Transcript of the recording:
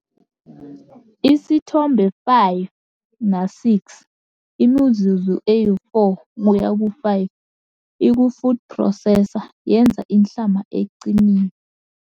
Isithombe 5 na-6- imizuzu e-4 kuya kwe-5 iku-food processor yenza inhlama eqinile.